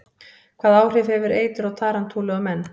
Hvaða áhrif hefur eitur tarantúlu á menn?